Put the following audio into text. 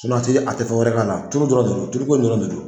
a tɛ fɛ wɛrɛ k'a la turu dɔrɔn de don duluko in dɔrɔn de don